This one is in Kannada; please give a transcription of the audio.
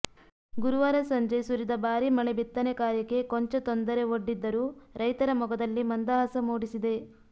ಗುರುವಾರ ಸಂಜೆ ಸುರಿದ ಬಾರಿ ಮಳೆ ಬಿತ್ತನೆ ಕಾರ್ಯಕ್ಕೆ ಕೊಂಚ ತೊಂದರೆ ಒಡ್ಡಿದ್ದರೂ ರೈತರ ಮೊಗದಲ್ಲಿ ಮಂದಹಾಸ ಮೂಡಿಸಿದೆ